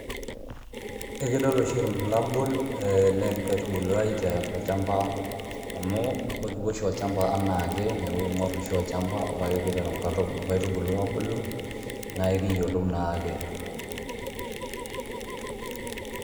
Ekidol oshi ilbulabul le nkaitubulu ai tolchamba, amu ikipuo oshi olchamba enake niaku ekingor oshi olchamba niaku teniteru inkaitubulu abulu na ekiyiolou naake,